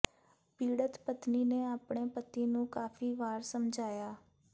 ਪੀੜਤ ਪਤਨੀ ਨੇ ਆਪਣੇ ਪਤੀ ਨੂੰ ਕਾਫੀ ਵਾਰ ਸਮਝਾਇਆ